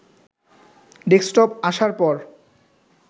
desktop আসার পর